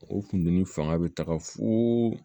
O kundiginin fanga be taga fooo